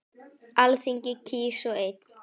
Alþingi kýs svo einn.